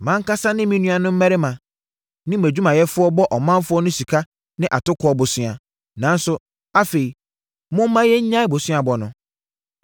Mʼankasa ne me nuanom mmarima ne mʼadwumayɛfoɔ bɔ ɔmanfoɔ no sika ne atokoɔ bosea, nanso, afei momma yɛnnyae boseabɔ no.